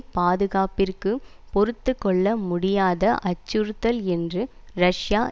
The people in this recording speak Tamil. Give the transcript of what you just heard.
பாதுகாப்பிற்கு பொறுத்து கொள்ள முடியாத அச்சுறுத்தல் என்று ரஷ்யா